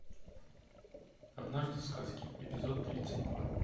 однажды в сказке эпизод тридцать два